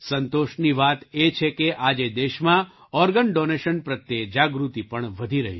સંતોષની વાત એ છે કે આજે દેશમાં ઑર્ગન ડૉનેશન પ્રત્યે જાગૃતિ પણ વધી રહી છે